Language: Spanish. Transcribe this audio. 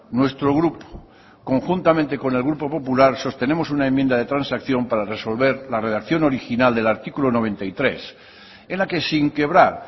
nuestro grupo conjuntamente con el grupo popular sostenemos una enmienda de transacción para resolver la redacción original del artículo noventa y tres en la que sin quebrar